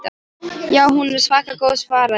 Já, hún er svaka góð svaraði Lilla.